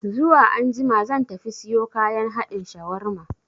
Zuwa anjima zan tafi siyo kayan haɗin shawarma